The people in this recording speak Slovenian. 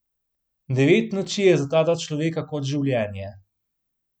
Devet noči je za ta dva človeka kot življenje.